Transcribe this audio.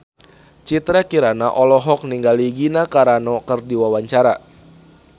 Citra Kirana olohok ningali Gina Carano keur diwawancara